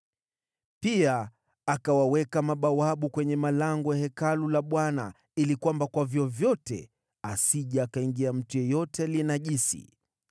Pia akawaweka mabawabu kwenye malango ya Hekalu la Bwana ili kwamba kwa vyovyote asije akaingia mtu yeyote aliye najisi.